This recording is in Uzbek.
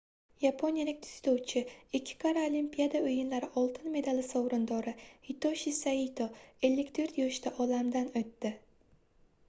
yaponiyalik dzyudochi ikki karra olimpiada oʻyinlari oltin medali sovrindori hitoshi saito 54 yoshida olamdan oʻtdi